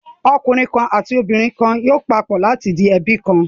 Ọkùnrin kan àti obìnrin kan yóò papọ̀ láti di ẹbí kan.